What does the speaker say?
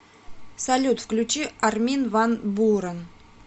салют включи армин ван бурен